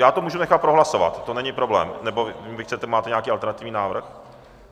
Já to můžu nechat prohlasovat, to není problém, nebo vy chcete, máte nějaký alternativní návrh?